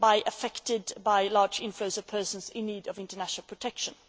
affected by large inflows of persons in need of international protection.